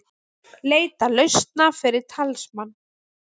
Leita lausna fyrir talsmann